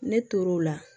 Ne tor'o la